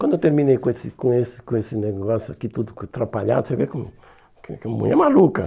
Quando eu terminei com esse com esse com esse negócio aqui tudo atrapalhado, você vê que que a mulher é maluca.